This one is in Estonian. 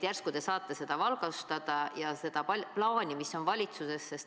Järsku te saate valgustada seda plaani, mis on valitsusel?